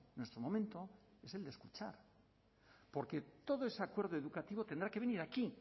nuestro momento es del de escuchar porque todo ese acuerdo educativo tendrá que venir aquí